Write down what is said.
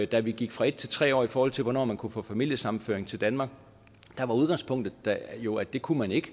da vi gik fra en til tre år i forhold til hvornår man kunne få familiesammenføring til danmark var udgangspunktet jo at det kunne man ikke